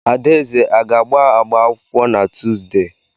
Adaeze a ga-agba akwụkwọ na Tuuzdee?